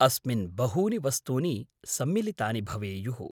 अस्मिन् बहूनि वस्तूनि सम्मिलितानि भवेयुः।